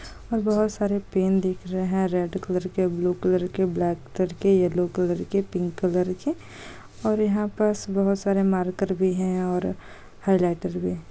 और बहुत सारे पेन दिख रहे हैं रेड कलर के ब्लू कलर के ब्लैक कलर के येलो कलर के पिंक कलर के और यहा पस बहुत सारे मार्कर भी हैं और हाईलाइटर भी हैं।